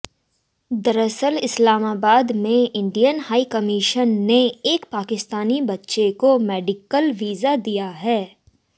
दरअसल इस्लामाबाद में Indian high commission ने एक पाकिस्तानी बच्चे को मेडिकल वीजा दिया है